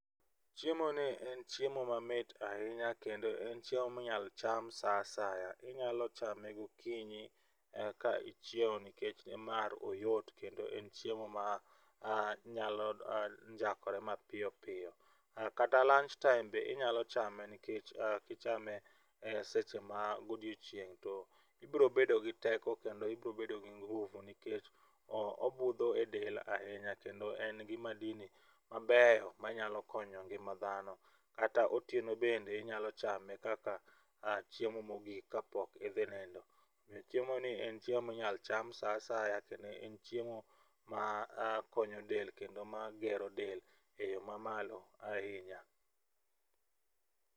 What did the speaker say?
Chiemo ni en chiemo mamit ahinya kendo en chiemo minyalo cham saa asaya. Inyalo chame gokinyi ka ichiewo nikech mar oyot kendo en chiemo ma nyalo njakore mapiyo piyo, kata lunch time be inyalo chame nikech kichame e seche ma godiochieng' to ibro bedo gi teko kendo ibo bedo gi nguvu nikech obudho e del ahinya kendo en gi madini mabeyo manyalo konyo ngima dhano .Kata otieno bende inyao chame kaka chemo mogik kapok idhi nindo .Ominyo chiemo ni en chiemo minyal cham saa asaya kendo en chiemo makonyo del kendo magero del eyoo mamalo ahinya.